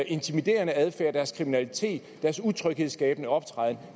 intimiderende adfærd deres kriminalitet deres utryghedsskabende optræden